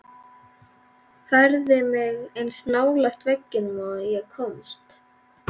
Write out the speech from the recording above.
Færði mig eins nálægt veggnum og ég komst.